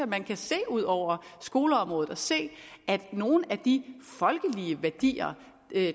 man kan se ud over skoleområdet og se at nogle af de folkelige værdier